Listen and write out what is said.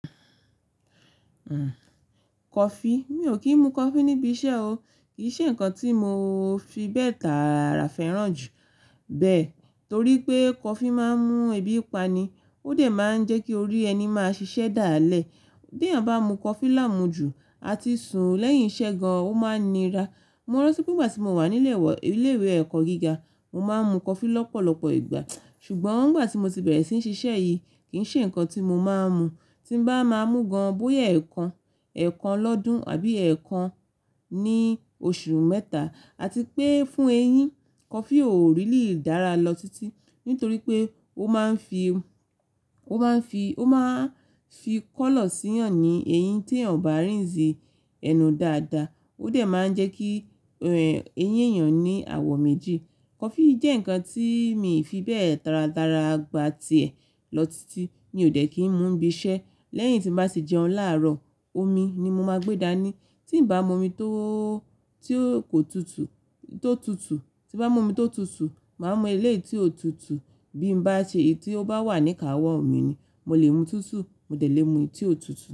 Kọfí, mi ò kí ń mu kọfí níbi iṣẹ́ o. Kì í ṣe nǹkan tí mo fi bẹ́ẹ̀ tara fẹ́ràn jù bẹ́ẹ̀ torí pé kọfí máa ń mú ebi pani, ó de máa ń jẹ́ kí orí ẹni máa ṣiṣẹ́ dalẹ́. Bí èèyàn bá mu kọfí láàmú jù àti sun lẹ́yìn iṣẹ́ gan-an, ó máa nira. Mo ranti pé nígbà tí mo wà ní ilé ìwé ẹ̀kọ́ gíga, mo máa ń mu kọfí lọ́pọ̀lọpọ̀ ìgbà. Ṣùgbọ́n nígbà tí mo ti bẹ̀rẹ̀ sí ní ṣiṣẹ́ yìí, kì í ṣe nǹkan tí mo máa ń mu. Tí n bá máa mú gan-an, bóyá ẹ̀ẹ̀kan, ẹ̀ẹ̀kan lọ́dún àbí ẹ̀ẹ̀kan ní oṣù mẹ́ta. Àti pé fún eyín, kọfí ò rílí dára lọ títí nítorí pé ó máa ń fi, ó máa ń fi, ó máa ń fi kọ́lọ̀ síyan ní eyín tí èèyàn ò bá rínze ẹnu dáadáa. Ó de máa ń jẹ́ kí, ẹ́, eyín èèyàn ní àwọ̀ méjì. Kọfí jẹ́ nǹkan tí mi ò fi bẹ́ẹ̀ taradara gbà tiẹ̀ lọ títí mí ó de kí ń mu níbi iṣẹ́. Lẹ́yìn tí n bá sì jẹun láàrọ̀, omi ni mo máa gbé daní. Tí n bá mu omi tó, tí ò kó tutù, tó tutù, tí bá mu omi tó tutù, màá mu eléyi tí ó tutù. Bí n bá ṣe èyí tí ó bá wà níka àwọ̀ mi ni. Mo lè mu túútúù, mo dẹ̀ lè mu tí ó tutù.